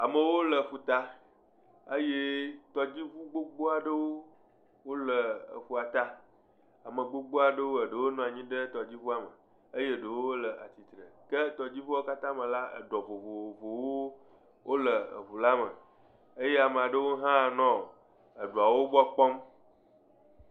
Amewo le ƒuta eye tɔdziŋu gbogbo aɖewo le eƒua ta, ame gbogbo aɖewo, eɖewo nɔ anyi ɖe tɔdziŋua me eye eɖewo le atsitre ke tɔdziŋuawo katã me la, eɖɔ vovovowo wole eŋu la me, eye ame aɖewo hã le eɖɔawo gbɔ kpɔm.